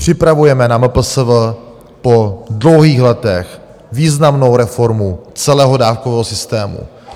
Připravujeme na MPSV po dlouhých letech významnou reformu celého dávkového systému.